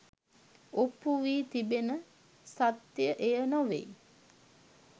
ඔප්පු වී තිබෙන සත්‍යය එය නොවේ